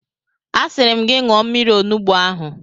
Asịrị m gị ṅụọ mmiri onugbu ahụ!